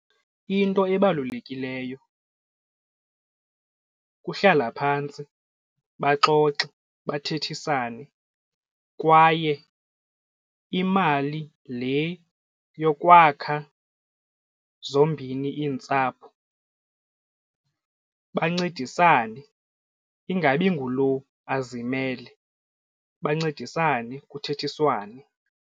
Into ebalulekileyo kuhlala phantsi baxoxe bathethisane kwaye imali le nto yokwakha zombini iintsapho bancedisane ingabi ngulowo azimele bancedisane kuthethiswane.